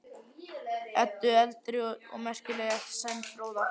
Eddu eldri og merkilegri eftir Sæmund fróða.